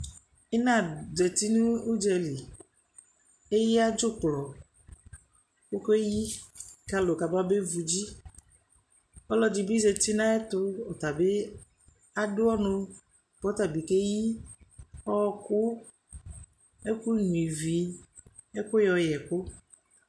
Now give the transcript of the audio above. Ɩna zati nʋ ʋdzali Eyǝ dzʋklɔ kʋ ɔkeyi kʋ alʋ kababevu dzi Ɔlɔdɩ bɩ zati nʋ ayɛtʋ, ɔta bɩ adʋ ɔnʋ kʋ ɔta bɩ keyi ɔɣɔkʋ, ɛkʋnyuǝ ivi, ɛkʋ yɔyɛ ɛkʋ